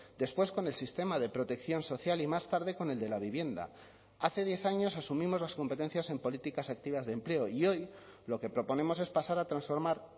después con el sistema de protección social y más tarde con el de la vivienda hace diez años asumimos las competencias en políticas activas de empleo y hoy lo que proponemos es pasar a transformar